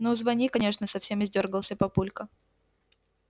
ну звони конечно совсем издёргался папулька